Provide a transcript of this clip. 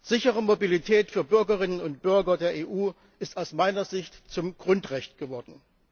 Sichere Mobilität für Bürgerinnen und Bürger der EU ist aus meiner Sicht zum Grundrecht geworden.